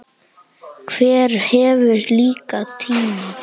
Hver hefur líka tíma?